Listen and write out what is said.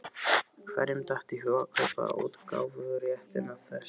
Hverjum datt í hug að kaupa útgáfuréttinn að þessu?